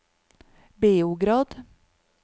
Beograd